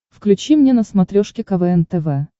включи мне на смотрешке квн тв